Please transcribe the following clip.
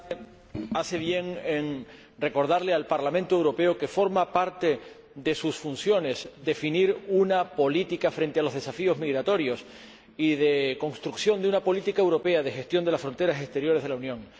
Señor Presidente, este debate hace bien en recordarle al Parlamento Europeo que forma parte de sus funciones definir una política frente a los desafíos migratorios y construir una política europea de gestión de las fronteras exteriores de la Unión.